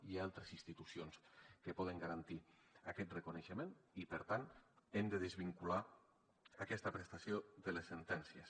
hi ha altres institucions que poden garantir aquest reconeixement i per tant hem de desvincular aquesta prestació de les sentències